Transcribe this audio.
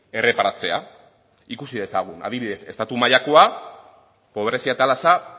erreparatzea ikusi dezagun adibidez estatu mailako pobrezia atalasa